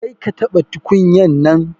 Kar ka taba tukunyan nan.